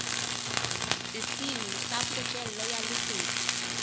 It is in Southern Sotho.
sesiu sa pokello ya lesedi